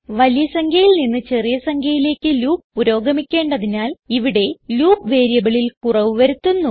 വലിയ സംഖ്യയിൽ നിന്ന് ചെറിയ സംഖ്യയിലേക്ക് ലൂപ്പ് പുരോഗമിക്കേണ്ടതിനാൽ ഇവിടെ ലൂപ്പ് വേരിയബിളിൽ കുറവ് വരുത്തുന്നു